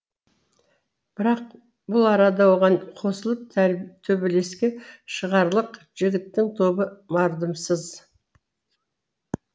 бірақ бұл арада оған қосылып төбелеске шығарлық жігіттің тобы мардымсыз